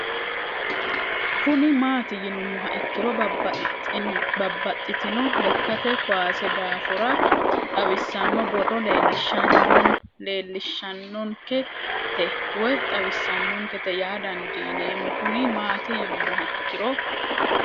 Kuni mati yinumoha ikiro babaxitino lekate kuase dafora xawisano booro leesishanonike te woyi xawisanonikete yaa dandineemo Kuni mati yinumoha ikiro